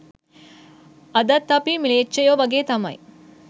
අදත් අපි ම්ලේච්චයෝ වගේ තමයි